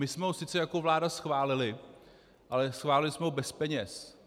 My jsme ho sice jako vláda schválili, ale schválili jsme ho bez peněz.